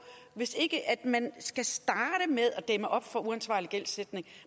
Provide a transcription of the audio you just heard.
hvis ikke man skal starte med at dæmme op for uansvarlig gældsætning